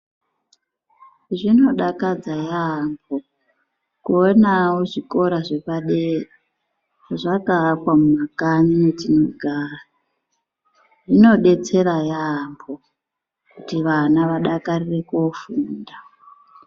Zvinodakadza yaambo kuonawo zvikora zvepadera zvakaakwa mumakanyi metinogara. Zvinodetsera yaambo kuti vana vadakarire kuofunda.